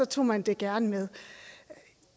tog man det gerne med